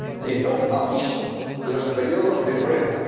de no abuso de los períodos de prueba